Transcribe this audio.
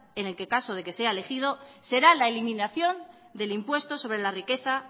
en caso de que sea elegido será la eliminación del impuesto sobre la riqueza